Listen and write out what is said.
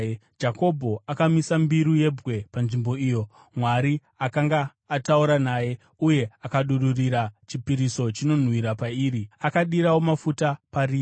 Jakobho akamisa mbiru yebwe panzvimbo iyo Mwari akanga ataura naye, uye akadururira chipiriso chinonwiwa pariri; akadirawo mafuta pariri.